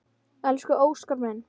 Elsku Óskar minn.